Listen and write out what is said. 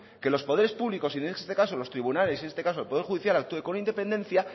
que los poderes públicos y en este caso los tribunales en este caso el poder judicial actúe con independencia